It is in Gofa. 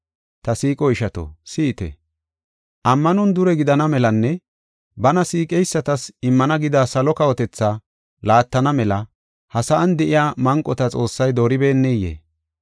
Ta siiqo ishato, si7ite. Ammanon dure gidana melanne bana siiqeysatas immana gida salo kawotethaa laattana mela ha sa7an de7iya manqota Xoossay dooribeneyee?